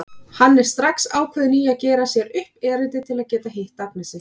Hann er strax ákveðinn í að gera sér upp erindi til að geta hitt Agnesi.